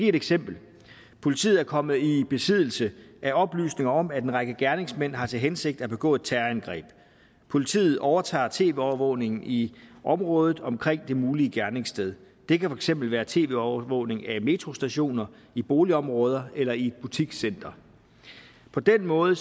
et eksempel politiet er kommet i besiddelse af oplysninger om at en række gerningsmænd har til hensigt at begå et terrorangreb politiet overtager tv overvågningen i området omkring det mulige gerningssted det kan for eksempel være tv overvågning af metrostationer i boligområder eller i et butikscenter på den måde